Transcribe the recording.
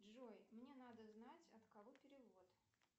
джой мне надо знать от кого перевод